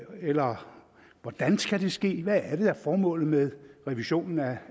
ind eller hvordan skal det ske hvad er det der er formålet med revisionen af